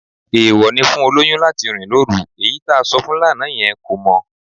Èèwọ̀ ni fún olóyún láti rìn lóru, èyí tá sọ fún lánàá yẹn kò mọ